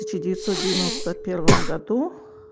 тысяча девятьсот девяносто первом году